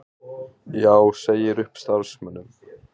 Já segir upp starfsmönnum